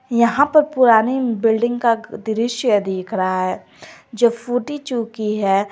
यहां पर पुरानी बिल्डिंग का दृश्य दिख रहा है जो फूटी चुकी है।